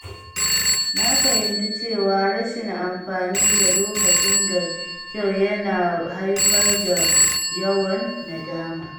Na fahimci cewa rashin amfani da lokacin da kyau yana haifar da yawan nadama.